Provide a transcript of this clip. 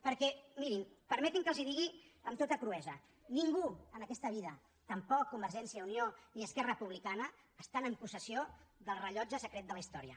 perquè mirin permetin me que els ho digui amb tota cruesa ningú en aquesta vida tampoc convergència i unió ni esquerra republicana està en possessió del rellotge secret de la història